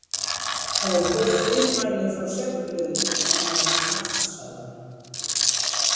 Það voru birt fyrirmæli frá setuliðinu á meðan þú svafst sagði hann.